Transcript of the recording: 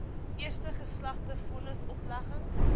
eerste geslaagde vonnisoplegging